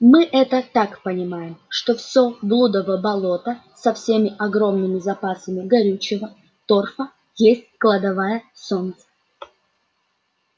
мы это так понимаем что всё блудово болото со всеми огромными запасами горючего торфа есть кладовая солнца